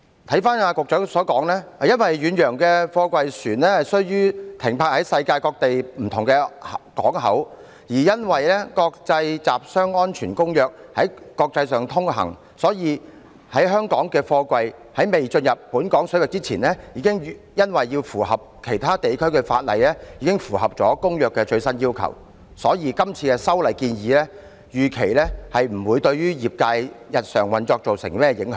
根據局長所言，因為遠洋貨櫃船須停泊世界各地不同港口，而因為《國際集裝箱安全公約》在國際上通行，故此在香港的貨櫃在未進入本港水域前已因為要符合其他地區的法例已符合了《公約》的最新要求，所以當局預期今次的修例建議不會對業界的日常運作造成甚麼影響。